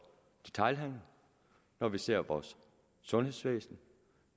detailhandel når vi ser på vores sundhedsvæsen